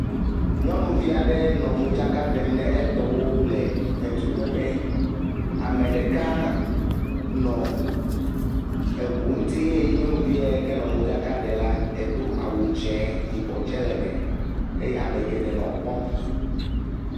Nyɔnuvi aɖe nɔ modzaka ɖem ne etɔwo le edu kpeƒe. Ameɖeka nɔ eʋuo nti eye nyɔnuviɛ kenɔ modzaka ɖe la, edo awu dzẽ, yibɔ tsɛ le me eye amegeɖe nɔ ekpɔm.